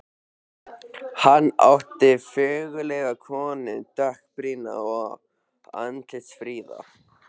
Hann átti föngulega konu, dökkbrýnda og andlitsfríða.